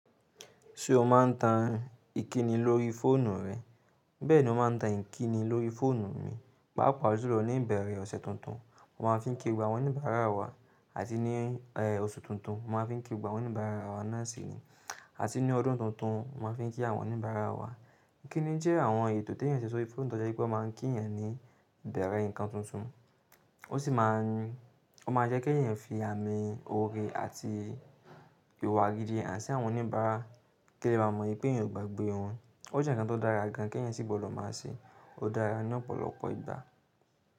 Ṣé o máa ń tan ìkíni lórí fóònù rẹ? Bẹ́ẹ̀ ni ó máa ń tan ìkíni lórí fóònù mi. Pàápàá julo ní ìbẹ̀rẹ̀ ọ̀sẹ̀ tuntun, mo máa ń fi ki gbogbo awọ́n oníbàárà wa àti ní oṣù tuntun wọ́n máa ń fi ki gbogb àwọ́n oníbàárà wa náà sì ni. Àti ní ọdún tuntun mo máa ń fi kí àwọn oníbàárà wa. Ìkíni jẹ́ àwọn ètò tí èèyàn ṣe sórí fóònù tó jẹ́ wípé ó máa ń kí èèyàn ní ìbẹ̀rẹ̀ nǹkan tuntun, ó sì máa ń jẹ́ kí èèyàn fi àmì oore àti ìwà gidi hàn sí àwọn oníbàárà kí wọ́n lè bá mọ̀ pé èèyàn ò gbàgbé wọn. Ó jẹ́ nǹkan tó dára gan an kí èèyàn sì gbọdọ̀ máa ṣe, ó dára ní ọ̀pọ̀lọpọ̀ ìgbà.